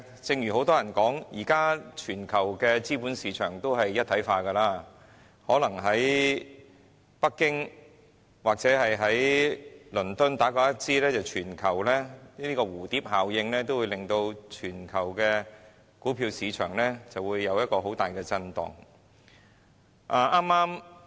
正如很多人都說，現時全球的資本市場都是一體化，可能北京或倫敦打個噴嚏、在蝴蝶效應的影響下，全球股票市場都會出現大震盪。